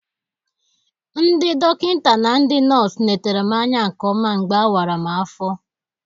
Ndị dọkịnta na ndị nọs letara m anya nke ọma mgbe a wara m afọ.